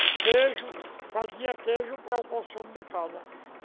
Queijo, fazia queijo para o consumo de casa.